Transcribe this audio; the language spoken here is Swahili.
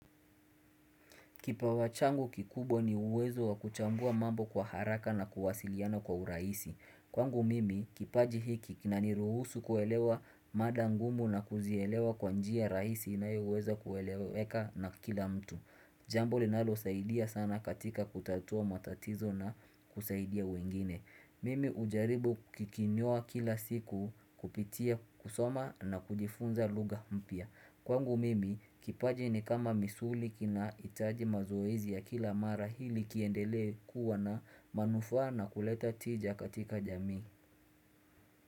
Kipawa changu kikubwa ni uwezo wa kuchambua mambo kwa haraka na kuwasiliana kwa urahisi. Kwangu mimi, kipaji hiki kina ni ruhusu kuelewa mada ngumu na kuzielewa kwa njia rahisi inayo weza kueleweka na kila mtu. Jambo linalosaidia sana katika kutatua matatizo na kusaidia wengine. Mimi ujaribu kikinyoa kila siku kupitia kusoma na kujifunza lugha mpya. Kwangu mimi kipaji ni kama misuli kinahitaji mazoezi ya kila mara hili kiendelee kuwa na manufaa na kuleta tija katika jamii.